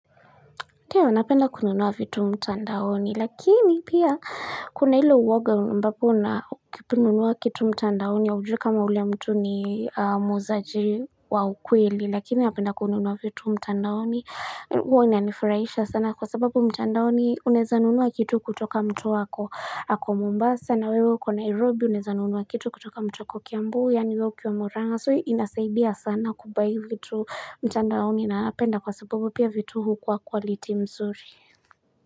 Ndio, napenda kununua vitu mtandaoni, lakini pia kuna hilo uwoga ambapo na ukinunua kitu mtandaoni ya ujui kama ule mtu ni muuzaji wa ukweli, lakini napenda kununua vitu mtandaoni, huo inanifraisha sana kwa sababu mtandaoni unaezanunua kitu kutoka mtu ako mombasa. Sana wewe kwa Nairobi unaezanunuwa kitu kutoka mtu ako kiambu yaani wewe ukiwa murang'a so inasaidia sana kubai vitu mtandaoni na ninaapenda kwa sababu pia vitu hukuwa kwaliti mzuri.